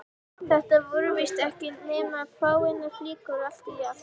Þetta voru víst ekki nema fáeinar flíkur allt í allt.